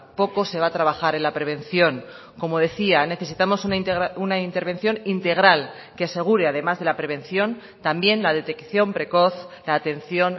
poco se va a trabajar en la prevención como decía necesitamos una intervención integral que asegure además de la prevención también la detección precoz la atención